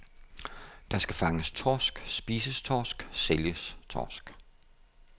Der skal fanges torsk, spises torsk, sælges torsk.